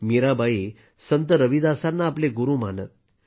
मीराबाई संत रविदासांना आपले गुरू मानत